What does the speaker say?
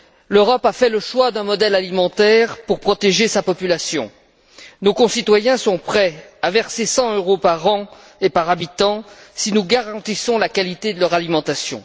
L'Europe a fait le choix d'un modèle alimentaire pour protéger sa population. Nos concitoyens sont prêts à verser 100 euros par an et par habitant si nous garantissons la qualité de leur alimentation.